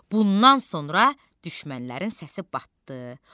Bundan sonra düşmənlərin səsi batdı.